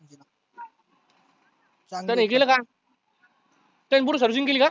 त्यानं हे केलं का? त्यानी पुर्ण servicing केली का?